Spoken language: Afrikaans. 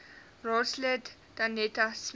raadslid danetta smit